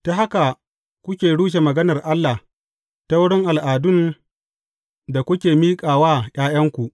Ta haka kuke rushe maganar Allah ta wurin al’adun da kuke miƙa wa ’ya’yanku.